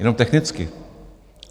Jenom technicky.